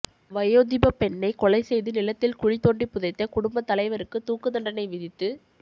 வயோதிபப் பெண்ணை கொலை செய்து நிலத் தில் குழிதோண்டிப் புதைத்த குடும்பத் தலைவருக்கு தூக்குத் தண்டனை விதித்து